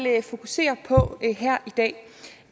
fokusere på her i dag